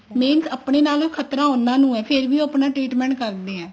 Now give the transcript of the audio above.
means ਆਪਣੇ ਨਾਲੋ ਖਤਰਾ ਉਹਨਾ ਨੂੰ ਹੈ ਫ਼ੇਰ ਵੀ ਉਹ ਆਪਣਾ treatment ਕਰਦੇ ਆ